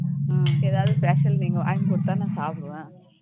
உம் ஏதாவது பேசையில நீங்க வாங்கி கொடுத்தா நான் சாப்பிடுவேன்